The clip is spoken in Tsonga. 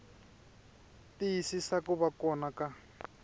tiyisisa ku va kona ka